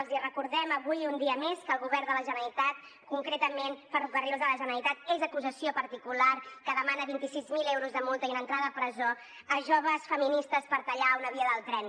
els recordem avui un dia més que el govern de la generalitat concretament ferrocarrils de la generalitat és acusació particular que demana vint sis mil euros de multa i una entrada a presó a joves feministes per tallar una via del tren